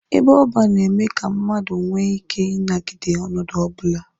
Ebe ọban na-eme ka mmadụ nwee ike inagide ọnọdụ ọbụla.